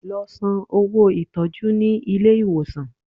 Lọ san owó ìtọ́jú ní ilé ìwòsàn!